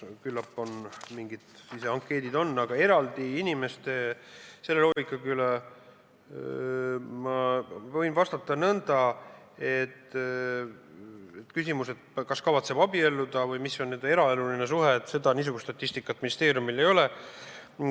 Küllap on olemas mingid siseankeedid, aga ma võin vastata nõnda, et seda küsimust, niisugust statistikat, kas kavatsetakse abielluda või mis on inimeste eraeluline suhe, ministeeriumil ei ole.